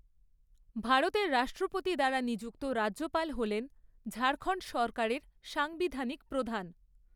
ভারতের রাষ্ট্রপতি দ্বারা নিযুক্ত রাজ্যপাল হলেন ঝাড়খণ্ড সরকারের সাংবিধানিক প্রধান।